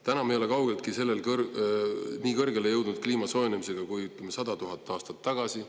Praegu ei ole kaugeltki nii kõrgele jõudnud, kui see oli 100 000 aastat tagasi.